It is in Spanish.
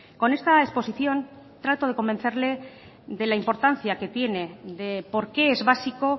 con esta exposición trato de convencerle de la importancia que tiene de por qué es básico